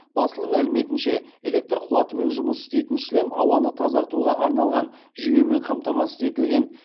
басылым мәліметінше электр қуатымен жұмыс істейтін шлем ауаны тазартуға арналған жүйемен қамтамасыз етілген